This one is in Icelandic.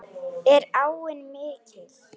Er áin mikil?